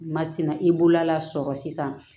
Masina i bolo la sɔrɔ sisan